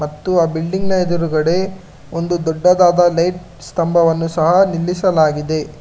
ಮತ್ತು ಆ ಬಿಲ್ಡಿಂಗ್ ಎದುರುಗಡೆ ಒಂದು ದೊಡ್ಡದಾದ ಲೈಟ್ಸ್ ಸ್ತಂಭವನ್ನು ಸಹ ನಿಲ್ಲಿಸಲಾಗಿದೆ.